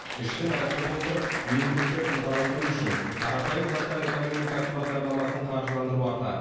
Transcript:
ішкі нарықты толтырып өндірісті ынталандыру үшін қарапайым заттар экономикасы бағдарламасын қаржыландыру артады